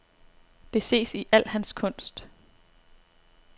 Det ses i al hans kunst.